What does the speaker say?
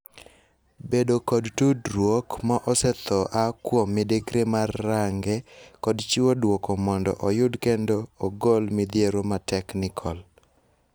Bedo kod tudruok ma osethoo aa kuom midekre mar range kod chiwo duoko mondo oyud kendo ogol midhiero mateknikol.